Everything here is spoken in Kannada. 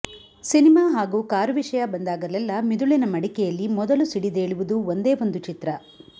ಸಿನಿಮಾ ಹಾಗೂ ಕಾರು ವಿಷಯ ಬಂದಾಗಲೆಲ್ಲ ಮಿದುಳಿನ ಮಡಿಕೆಯಲ್ಲಿ ಮೊದಲು ಸಿಡಿದೇಳುವುದು ಒಂದೇ ಒಂದು ಚಿತ್ರ